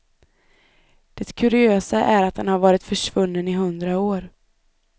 Det kuriösa är att den har varit försvunnen i hundra år.